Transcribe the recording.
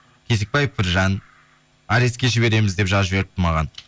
кезікбаев біржан арестке жібереміз деп жазып жіберіпті маған